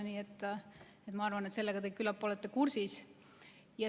Nii et küllap te olete sellega kursis.